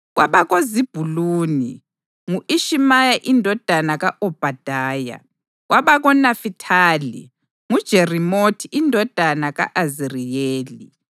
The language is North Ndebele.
kwabakoZebhuluni: ngu-Ishimaya indodana ka-Obhadaya; kwabakoNafithali: nguJerimothi indodana ka-Aziriyeli